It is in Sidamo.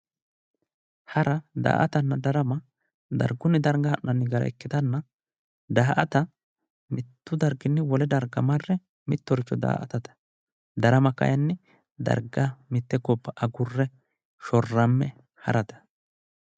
hara daa''atanna darama darganni darga ha'nanni gara ikkitanna daa''ata mittu darginni wole darga marre mittoricho daa''atate darama kayiinni darga mitte gobba agurre shorramme harate.